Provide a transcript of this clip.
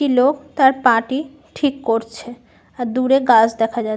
একটি লোক তার পা টি ঠিক করছে। আর দূরে গাছ দেখা যা--